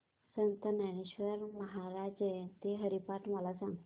संत ज्ञानेश्वर महाराज जयंती हरिपाठ मला सांग